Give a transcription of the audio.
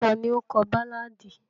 Tani o kọ baláàdi?